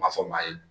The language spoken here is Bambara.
Ma fɔ maa ye